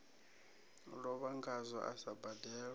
lovha ngazwo a sa badelwe